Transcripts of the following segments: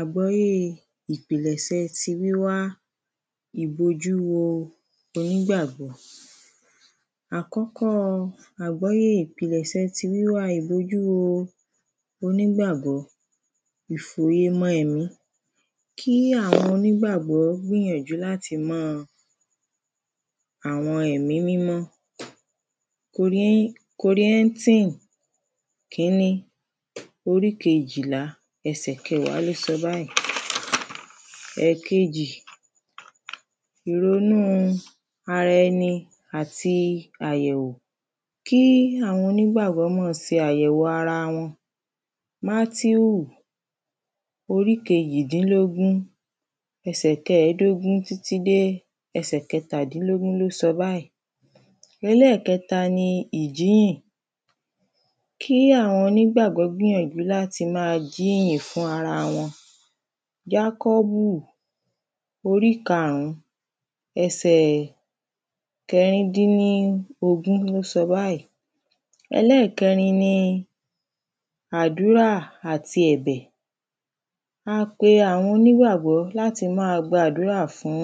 Àgbọ́yé ìpilẹ̀sẹ̀ ti wíwá ìbojúwo onígbàgbọ́. Àkọ́kọ́ àgbọ́yé ìpilẹ̀sẹ̀ ti wíwá ìbojúwo onígbàgbọ́ ìfòyemọ́ ẹni. Kí àwọn onígbàgbọ́ gbìyànjú láti má àwọn ẹ̀mí mímọ́ kòrí kòríntìn kíní orí kejìlá ẹsẹ kẹwàá ló sọ báyìí. Ẹ̀kejì ìronú ara ẹni àti àyẹ̀wò. Kí àwọn onígbàgbọ́ má se àyẹ̀wò ara wọn mátèu orí kejìdínlógún ẹsẹ kẹdògún títí dé ẹsẹ̀ kẹtàdínlógún ló sọ báyìí. Ẹlẹ́ẹ̀kẹta ni ìjínyìn. Kí àwọn onígbàgbọ́ gbìyànjú láti má jínyìn fún ara wọn jákọ́bù orí karùn ún ẹsẹ̀ kẹrìndínlógún ló sọ báyìí. Ẹlẹ́ẹ̀kẹrin ni àdúrà àti ẹ̀bẹ̀. Má pe àwọn onígbàgbọ́ láti má gbàdúrà fún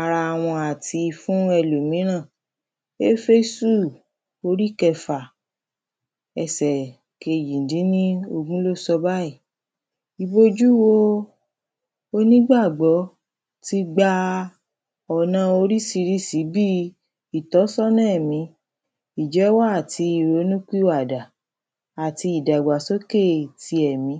ara wọn àti fún ẹlòmíràn éfésù orí kẹfà ẹsẹ̀ kejìdínlógún ló sọ báyìí. Ìbojúwo onígbàgbọ́ ti gba ọ̀na orísirísi bí ìtọ́sọ́nà ẹ̀mí ìjẹ́wọ́ àti ìrónúpìwàdà àti ìdàgbàsókè ti ẹ̀mí.